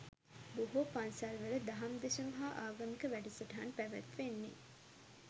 බොහෝ පන්සල්වල දහම් දෙසුම් හා ආගමික වැඩසටහන් පැවැත්වෙන්නේ